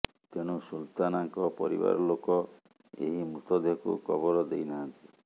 ତେଣୁ ସୁଲତନାଙ୍କ ପରିବାର ଲୋକ ଏହି ମୃତଦେହକୁ କବର ଦେଇନାହାନ୍ତି